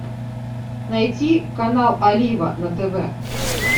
найти канал олива на тв